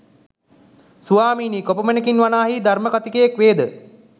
සවාමීනි කොපමණකින් වනාහි ධර්‍මකථිකයෙක් වේද?